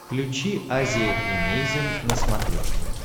включи азия эмейзин на смотрешке